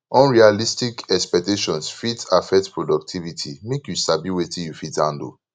unrealistic expectations fit affect productivity make you sabi wetin you fit handle